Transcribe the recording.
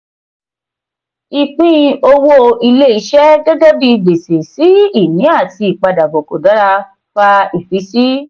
ìpín owó ilé-iṣẹ́ gẹ́gẹ́ bi gbèsè-sí-ini àti ìpadabọ̀ kò dára fa ìfiysi.